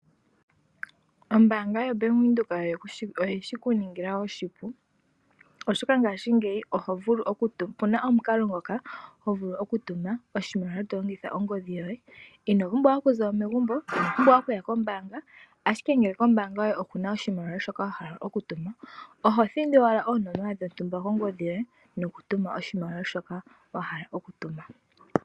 Ombaanga yoBank Windhoek oyeshi kuningila oshipu oshoka ngashingeyi opuna omukalo ngoka ho vulu okutuma oshimaliwa to longitha ongodhi yoye. Ino pumbwa okuza mo megumbo , ino pumbwa okuya kombaanga. Ashike ngele kombaanga yoye okuna oshimaliwa shoka wa hala okutuma oho thindi owala oonomola dhontumba kongodhi yoye nokutuma oshimaliwa shoka wa hala okutuma.